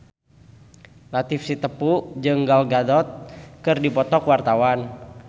Latief Sitepu jeung Gal Gadot keur dipoto ku wartawan